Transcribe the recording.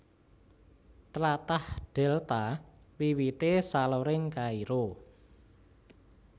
Tlatah Dèlta wiwité saloring Kairo